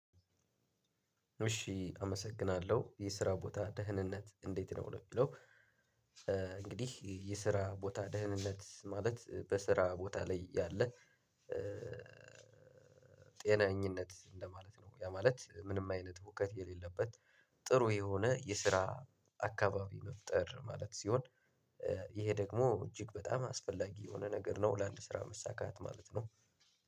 እሺ አመሰግናለሁ! የስራ ቦታህ ደህንነት እንዴት ነው? ለሚለው እንግዲህ የስራ ቦታ ደህንነት ማለት በስራ ቦታ ላይ ያለ ጤነኝነት እንደማለት ነው። ያ ማለት ምንም አይነት ህውከት የሌለበት ጥሩ የሆነ የስራ አካባቢ መፍጠር ማለት ሲሆን ይሄ ደግሞ እጅግ በጣም አስፈላጊ የሆነ ነገር ነው ለአንድ ስራ መሳካት ማለት ነው።